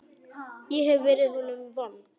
Ég hef verið honum vond.